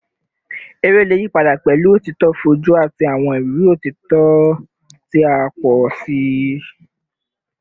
Ere le yipada pẹlu otito foju ati awọn iriri otito ti a pọ si